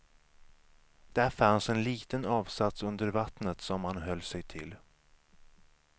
Där fanns en liten avsats under vattnet som han höll sig till.